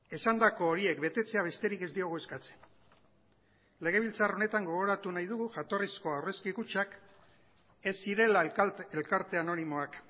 esandako horiek betetzea besterik ez diogu eskatzen legebiltzar honetan gogoratu nahi dugu jatorrizko aurrezki kutxak ez zirela elkarte anonimoak